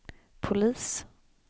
polis